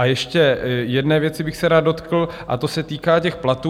A ještě jedné věci bych se rád dotkl a ta se týká těch platů.